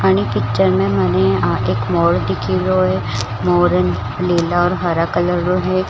पिक्चर में मने एक मोर दिखिरयो है मोर नीला और हरा कलर रो है।